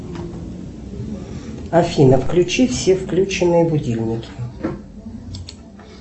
афина включи все включенные будильники